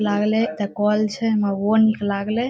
लागले एता कल छै हमरा ऊहो निक लागले।